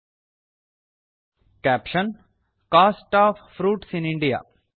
caption cost of fruits in India